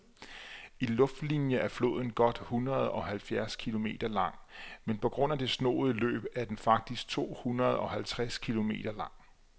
I luftlinie er floden godt hundredeoghalvfjerds kilometer lang, men på grund af det snoede løb er den faktisk tohundredeoghalvtreds kilometer lang.